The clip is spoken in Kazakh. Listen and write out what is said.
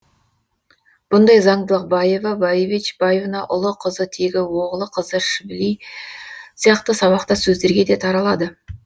бұндай заңдылық баева баевич баевна ұлы қызы тегі оглы кызы швили сияқты сабақтас сөздерге де таралады